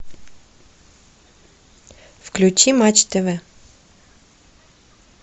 включи матч тв